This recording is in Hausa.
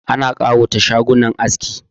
Ana kawata shagunan aski